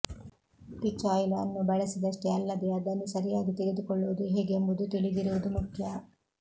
peach oil ಅನ್ನು ಬಳಸಿದಷ್ಟೇ ಅಲ್ಲದೇ ಅದನ್ನು ಸರಿಯಾಗಿ ತೆಗೆದುಕೊಳ್ಳುವುದು ಹೇಗೆಂಬುದು ತಿಳಿದಿರುವುದು ಮುಖ್ಯ